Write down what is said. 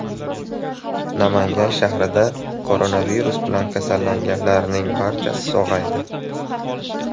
Namangan shahrida koronavirus bilan kasallanganlarning barchasi sog‘aydi.